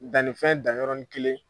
Dannifɛn dan yɔrɔnin kelen.